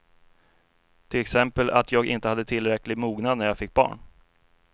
Till exempel att jag inte hade tillräcklig mognad när jag fick barn.